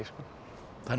þannig að